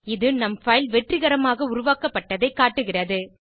இது நம் பைல் வெற்றிகரமாக உருவாக்கப்பட்டதைக் காட்டுகிறது